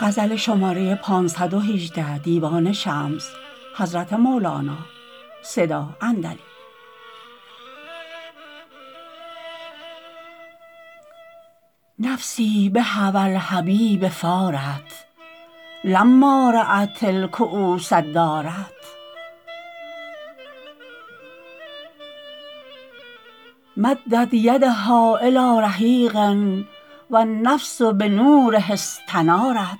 نفسی بهوی الحبیب فارت لما رات الکوس دارت مدت یدها الی رحیق و النفس بنوره استنارت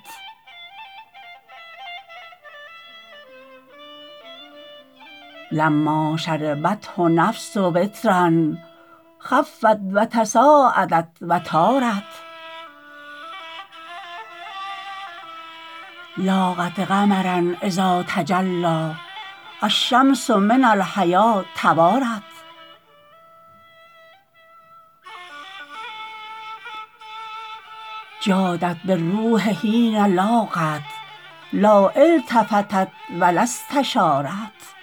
لما شربته نفس و ترا خفت و تصاعدت و طارت لاقت قمرا اذا تجلی الشمس من الحیا توارت جادت بالروح حین لاقت لا التفتت و لا استشارت